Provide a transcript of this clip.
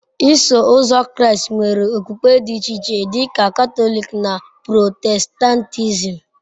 Iso Ụzọ Kraịst nwere okpukpe dị iche iche dị ka Katọlik na Protestantism.